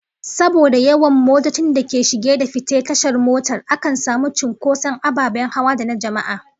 Saboda yawan motocin da ke shiga da fita tashar mota, akan samu cinkoson ababen hawa da na jama'a